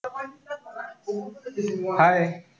Hii.